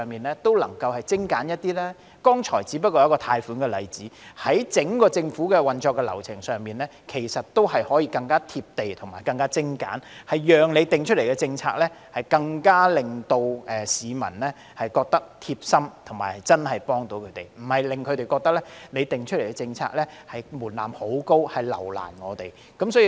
我剛才所舉出的只是關乎貸款的例子，事實上，整個政府的運作流程可更貼地、更精簡，讓市民對政府訂定的政策感到貼心，並覺得真的有所幫助，而非讓他們感到，政府設定高的政策門檻，目的是留難他們。